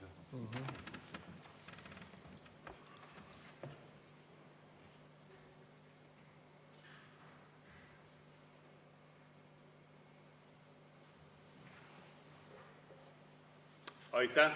Aitäh!